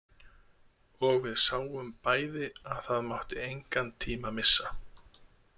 Og við sáum bæði að það mátti engan tíma missa.